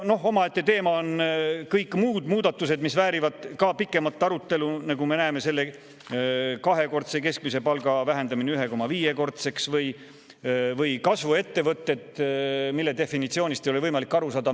Omaette teema on kõik muud muudatused, mis väärivad ka pikemat arutelu, selle kahekordse keskmise palga vähendamine 1,5-kordseks või kasvuettevõtted, mille definitsioonist ei ole võimalik aru saada.